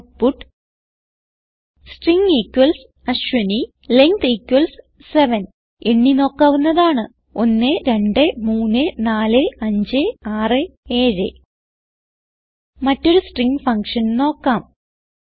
output string Ashwini length 7 എണ്ണി നോക്കാവുന്നതാണ് 1234567 മറ്റൊരു സ്ട്രിംഗ് ഫങ്ഷൻ നോക്കാം